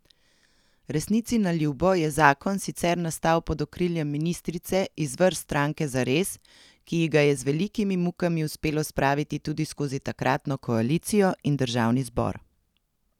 Resnici na ljubo je zakon sicer nastal pod okriljem ministrice iz vrst stranke Zares, ki ji ga je z velikimi mukami uspelo spraviti tudi skozi takratno koalicijo in državni zbor.